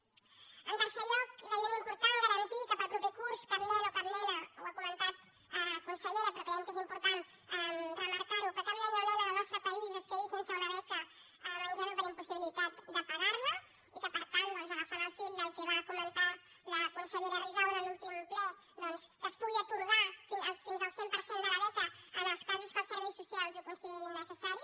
en tercer lloc creiem important garantir que per al proper curs cap nen o cap nena ho ha comentat con·sellera però creiem que és important remarcar·ho cap nen o nena del nostre país es quedi sense una be·ca menjador per impossibilitat de pagar·la i que per tant agafant el fil del que va comentar la consellera rigau en l’últim ple doncs es pugui atorgar fins al cent per cent de la beca en els casos en què els serveis socials ho considerin necessari